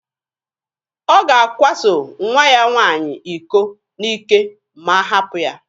Ọ ga-akwaso nwa ya nwaanyị iko n'ike ma a hapụ ya.